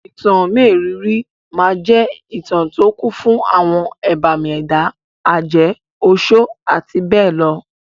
Ìtàn mérìíìírí máa jẹ́ ìtà tó kún fún àwọn ẹbàmì ẹ̀dá, àjẹ́, oṣọ́ àti bẹ́ẹ̀ lọ.